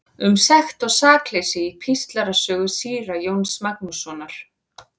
Um sekt og sakleysi í Píslarsögu síra Jóns Magnússonar.